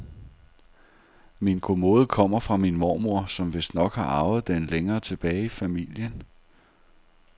Min kommode kommer fra min mormor, som vistnok har arvet den længere tilbage i familien.